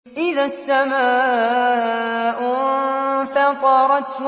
إِذَا السَّمَاءُ انفَطَرَتْ